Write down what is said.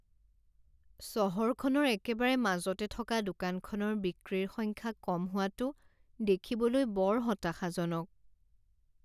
চহৰখনৰ একেবাৰে মাজতে থকা দোকানখনৰ বিক্ৰীৰ সংখ্যা কম হোৱাটো দেখিবলৈ বৰ হতাশাজনক।